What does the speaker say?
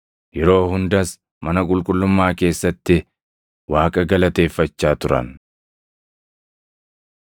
Yeroo hundas mana qulqullummaa keessatti Waaqa galateeffachaa turan.